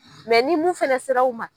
ni mun fɛnɛ sera aw man.